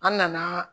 An nana